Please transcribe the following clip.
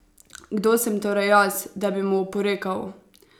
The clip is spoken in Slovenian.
Kdo sem torej jaz, da bi mu oporekal?